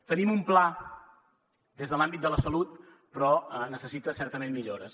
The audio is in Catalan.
tenim un pla des de l’àmbit de la salut però necessita certament millores